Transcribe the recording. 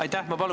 Aitäh!